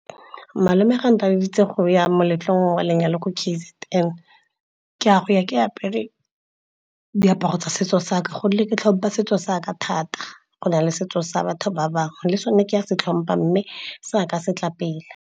Malome ga ntaleditse go ya moletlong wa lenyalo ko K_Z_N, ke a go ya ke apere diaparo tsa setso saka. Gonne ke tlhompha setso saka thata go na le setso sa batho ba bangwe le sone ka se tlhompa mme seka se tla pele.